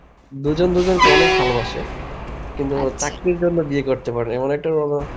দুজন দুজনকে অনেক ভালবাসে. কিন্তু চাকরির জন্যে বিয়ে করতে পারিনি এমন একটা